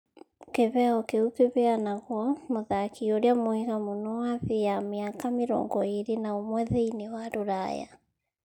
Kĩheo kĩu kĩheanagwo mũthaki ũrĩa mwega mũno wa thĩ ya mĩaka mĩrongo ĩrĩ na umwe thĩiniĩ wa Rũraya.